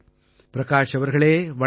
பிரகாஷ் அவர்களே வணக்கம்